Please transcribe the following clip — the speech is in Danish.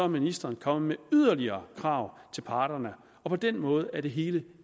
ministeren kommet med yderligere krav til parterne og på den måde er det hele